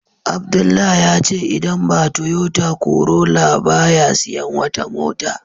Abdullah yace idan ba Toyota Corolla ba ya siyan wata mota